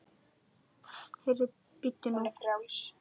Heyrðu, bíddu nú.